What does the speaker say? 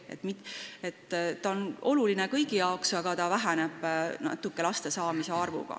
Need on olulised kõigile, aga nende tegurite tähtsus väheneb natuke, kui laste arv suureneb.